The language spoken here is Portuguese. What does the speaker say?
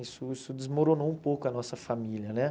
Isso isso desmoronou um pouco a nossa família né.